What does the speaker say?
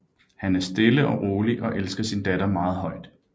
Han er stille og rolig og elsker sin datter meget højt